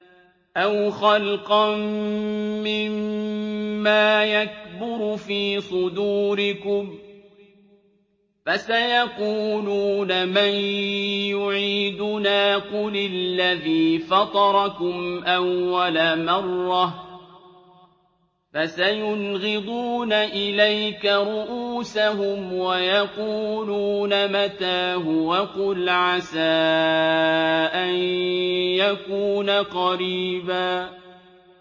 أَوْ خَلْقًا مِّمَّا يَكْبُرُ فِي صُدُورِكُمْ ۚ فَسَيَقُولُونَ مَن يُعِيدُنَا ۖ قُلِ الَّذِي فَطَرَكُمْ أَوَّلَ مَرَّةٍ ۚ فَسَيُنْغِضُونَ إِلَيْكَ رُءُوسَهُمْ وَيَقُولُونَ مَتَىٰ هُوَ ۖ قُلْ عَسَىٰ أَن يَكُونَ قَرِيبًا